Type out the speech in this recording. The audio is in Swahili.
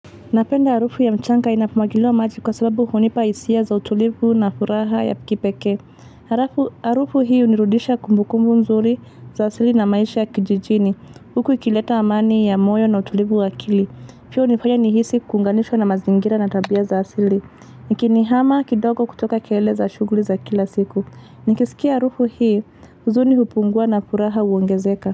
Napenda harufu ya mchanga inapo mwagiliwa maji kwa sababu hunipa hisia za utulivu na furaha ya kipekee. Harufu hii hunirudisha kumbukumbu nzuri za asili na maisha ya kijijini. Huku ikileta amani ya moyo na utulivu wa akili. Pia hunifanya nihisi kuunganishwa na mazingira na tabia za asili. Ikinihama kidogo kutoka kelele za shughuli za kila siku. Nikisikia harufu hii huzuni hupungua na furaha huongezeka.